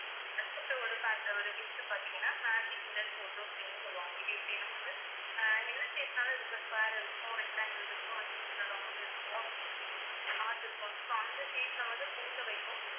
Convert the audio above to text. அதுக்கு அப்பறம் ஒரு pack ஒரு gift பாத்தீங்கன்னா magic mirror photo frame சொல்லுவாங்க இது எப்படின்னா வந்து அஹ் என்ன shape னாலும் இருக்கும் square இருக்கும் rectangle இருக்கும் இருக்கும் heart இருக்கும் so அந்த shape ல வந்து photo வைக்கும்